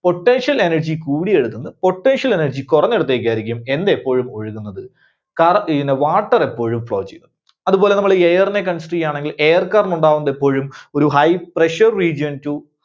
Potential energy കൂടിയിടത്തുനിന്ന് Potential energy കുറഞ്ഞ ഇടത്തേക്കായിരിക്കും എന്ത് എപ്പോഴും ഒഴുകുന്നത്. Water എപ്പോഴും flow ചെയ്യുന്നത്. അത് പോലെ നമ്മള് air നെ consider ചെയ്യികയാണെങ്കിൽ air current ഉണ്ടാകുന്നത് എപ്പോഴും ഒരു high pressure region to